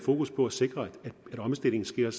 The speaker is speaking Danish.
mere